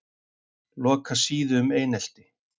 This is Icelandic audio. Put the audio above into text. Loka síðu um einelti